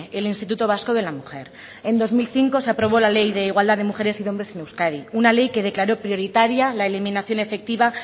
el instituto vasco de la mujer en dos mil cinco se aprobó la ley de igualdad de mujeres y hombres en euskadi una ley que declaró prioritaria la eliminación efectiva